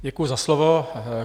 Děkuji za slovo.